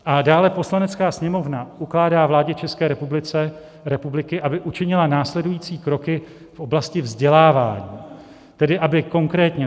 A dále: Poslanecká sněmovna ukládá vládě České republiky, aby učinila následující kroky v oblasti vzdělávání, tedy aby konkrétně